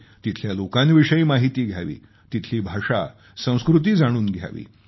तिथल्या लोकांविषयी माहिती घ्यावी तिथली भाषा संस्कृती जाणून घ्यावी